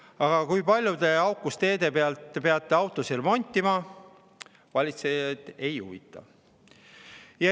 Aga kui palju te aukus teede tõttu peate autosid remontima, see valitsejaid ei huvita.